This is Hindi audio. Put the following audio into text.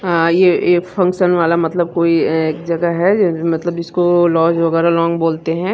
अ ये फंक्शन वाला मतलब कोई एक जगह है मतलब जीसको लाउंज वागैरा लॉन बोलते है।